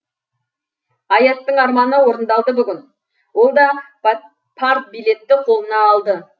аяттың арманы орындалды бүгін ол да партбилетті қолына алды